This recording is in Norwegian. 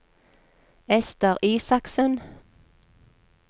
Esther Isaksen